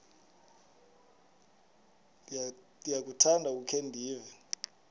ndiyakuthanda ukukhe ndive